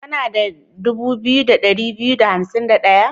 Kana da dubu biyu da ɗari biyu da hansim da ɗaya?